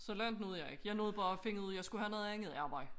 Så langt nåede jeg ikke jeg nåede bare finde ud af jeg skulle have noget andet arbejde